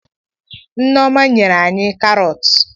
Nneoma nyere anyị karọt.